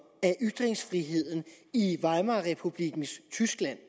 af ytringsfriheden i weimarrepublikkens tyskland